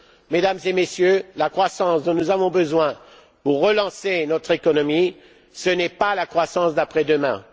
Mesdames et Messieurs, la croissance dont nous avons besoin pour relancer notre économie, ce n'est pas la croissance d'après demain.